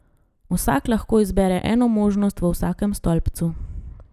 Vsak lahko izbere eno možnost v vsakem stolpcu.